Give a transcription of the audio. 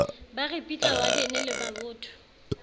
ba ripitla wadene le mabotho